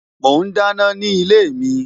Mo ń dáná ni ilé mi